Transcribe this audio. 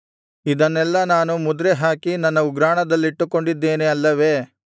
ಇದನ್ನೆಲ್ಲಾ ನಾನು ಮುದ್ರೆಹಾಕಿ ನನ್ನ ಉಗ್ರಾಣದಲ್ಲಿಟ್ಟುಕೊಂಡಿದ್ದೇನೆ ಅಲ್ಲವೇ